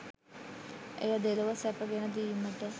එය දෙලොව සැප ගෙන දීමට